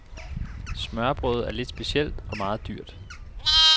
Smørrebrødet er lidt specielt, og meget dyrt.